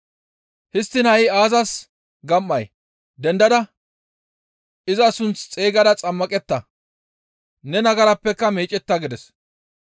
Histtiin ha7i aazas gam7ay? Dendada iza sunth xeygada xammaqetta; ne nagarappeka meecetta› gides.